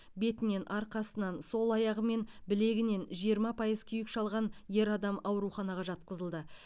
бетінен арқасынан сол аяғы мен білегінен жиырма пайыз күйік шалған ер адам ауруханаға жатқызылды